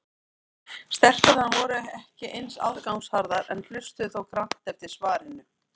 Stelpurnar voru ekki eins aðgangsharðar en hlustuðu þó grannt eftir svarinu.